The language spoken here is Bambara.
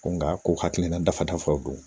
Nka ko hakilina dafaw don